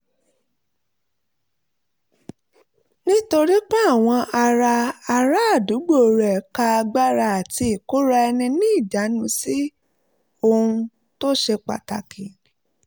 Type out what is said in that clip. nítorí pé àwọn ará ará àdúgbò rẹ̀ ka agbára àti ìkóra-ẹni-níjàánu sí ohun tó ṣe pàtàkì